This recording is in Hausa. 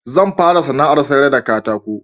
Zan fara sana'ar sayar da katako